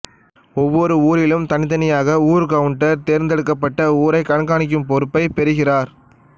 ஒவ்வொரு ஊரிலும் தனித்தனியாக ஊர்கவுண்டர் தேர்ந்தெடுக்கப்பட்டு அவ்வூரை கண்காணிக்கும் பொறுப்பை பெறுகிறார்